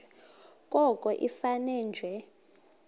koko ifane nje